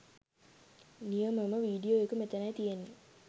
නියමම video එක මෙතැනයි තියෙන්නේ.